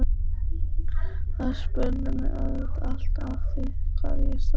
Þær spurðu mig auðvitað alltaf að því hvað ég starfaði.